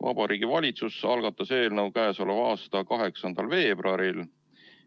Vabariigi Valitsus algatas eelnõu k.a 8. veebruaril,